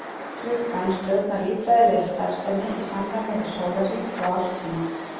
Klukkan stjórnar líffræðilegri starfsemi í samræmi við sólarhring og árstíma.